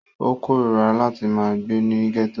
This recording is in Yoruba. Ó kóríra láti ma gbé ní gẹ́tò